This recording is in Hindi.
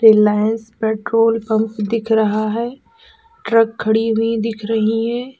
रिलायंस पेट्रोल पंप दिख रहा है ट्रक खड़ी हुई देख रही है।